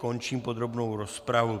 Končím podrobnou rozpravu.